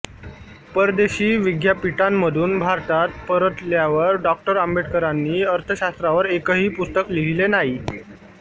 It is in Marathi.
परदेशी विद्यापीठांमधून भारतात परतल्यावर डॉ आंबेडकरांनी अर्थशास्त्रावर एकही पुस्तक लिहिले नाही